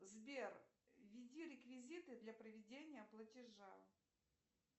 сбер введи реквизиты для проведения платежа